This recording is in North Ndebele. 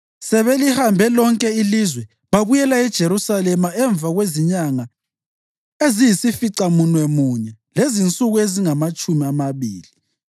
Sebelihambe lonke ilizwe, babuyela eJerusalema emva kwezinyanga eziyisificamunwemunye lezinsuku ezingamatshumi amabili.